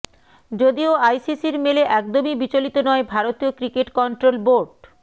যদিও আইসিসির মেলে একদমই বিচলিত নয় ভারতীয় ক্রিকেট কন্ট্রোল বোর্ড